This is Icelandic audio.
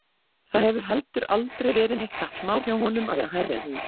Það hefur heldur aldrei verið neitt kappsmál hjá honum að vera hærri en hún.